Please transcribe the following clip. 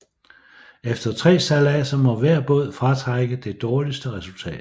Efter tre sejladser må hver båd fratrække det dårligste resultat